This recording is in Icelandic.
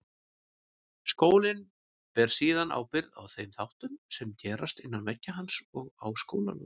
Skólinn ber síðan ábyrgð á þeim þáttum sem gerast innan veggja hans og á skólalóðinni.